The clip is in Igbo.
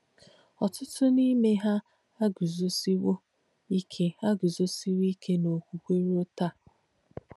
Ọ̀tútú n’íme ha àgùzòsìwō ìke àgùzòsìwō ìke n’òkwùkwē ruō tàā.